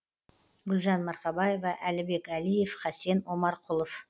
гүлжан марқабаева әлібек әлиев хасен омарқұлов